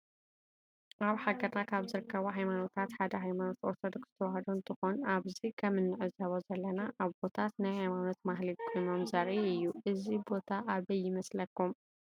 አብ ሃገርና ካብ ዝርከቡ ሃይማኖታት ሓደ ሃይማኖት አርቶዶክስ ተዋህዶ እንትኮን አብዚ ከም እንዕዞቦ ዘለና አቦታት ናይ ሃይማኖት ማህሌት ቆይሞም ዘሪኢ እዩ። እዚ ቦታ አበይ ይመስለኩም ?